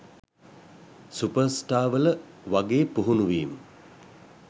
සුපර්ස්ටාර්වල වගේ පුහුණුවීම්